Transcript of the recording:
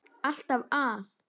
Alltaf að!